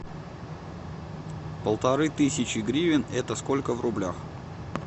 полторы тысячи гривен это сколько в рублях